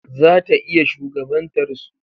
Zata iya shugabantar su.